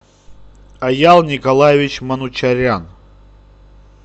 аял николаевич манучарян